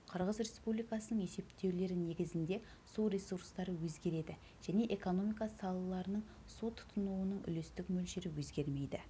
қырғыз республикасының есептеулері негізінде су ресурстары өзгереді және экономика салаларының су тұтынуының үлестік мөлшері өзгермейді